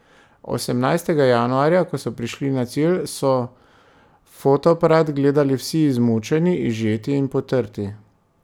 Osemnajstega januarja, ko so prišli na cilj, so v fotoaparat gledali vsi izmučeni, izžeti in potrti.